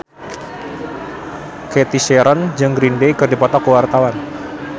Cathy Sharon jeung Green Day keur dipoto ku wartawan